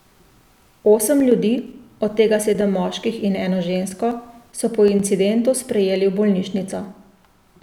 Osem ljudi, od tega sedem moških in eno žensko, so po incidentu sprejeli v bolnišnico.